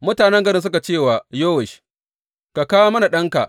Mutanen garin suka ce wa Yowash, Ka kawo mana ɗanka.